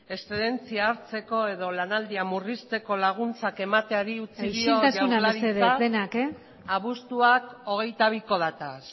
exzedentzia hartzeko edo lanaldia murrizteko laguntzak emateari utzi dio jaurlaritzak abuztuak hogeita biko dataz